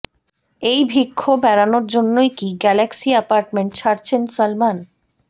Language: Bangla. এই বিক্ষোভ এড়ানোর জন্যই কি গ্যালাক্সি অ্যাপার্টমেন্ট ছাড়ছেন সলমন